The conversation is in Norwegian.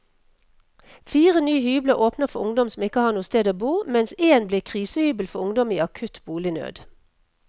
Fire nye hybler åpner for ungdom som ikke har noe sted å bo, mens en blir krisehybel for ungdom i akutt bolignød.